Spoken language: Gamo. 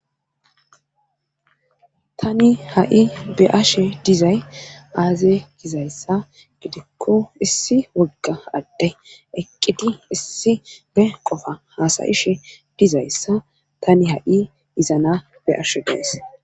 Tani ha7i be ashe dizay aaze gizayssa gidikko issi wogga adde eqqidi issi be qofa haasayishe dizayssa tani ha7i dizana be ashe gees.